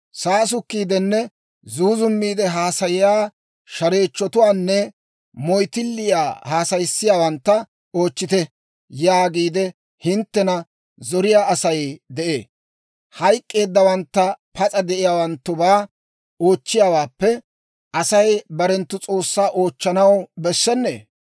«Saasukkiidenne zuuzummiide haasayiyaa shareechchotuwaanne moyttilliyaa haasayissiyaawantta oochchite» yaagiide hinttena zoriyaa Asay de'ee. Hayk'k'eeddawantta pas'a de'iyaawanttubaa oochchiyaawaappe, Asay barenttu S'oossaa oochchanaw bessennee?